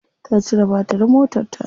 Ta cire batirin motarta.